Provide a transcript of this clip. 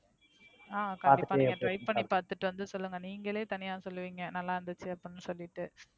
அஹ் கண்டிப்பா Try பண்ணி பார்த்துட்டு வந்து சொல்லுங்க. நீங்களே தனியா சொல்லுவீங்க நல்ல இருந்துச்சு அப்படின்னு சொல்லிட்டு.